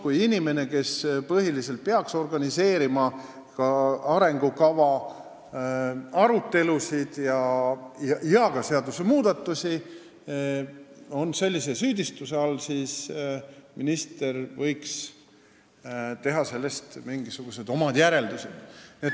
Kui inimest, kes põhiliselt peaks organiseerima arengukava arutelusid ja seadusmuudatusi, on sellisel moel süüdistatud, siis minister võiks sellest teha mingisugused järeldused.